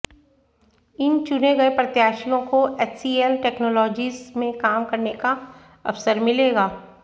इन चुने गए प्रत्याशियों को एचसीएल टैक्नोलाजीज में काम करने का अवसर मिलेगा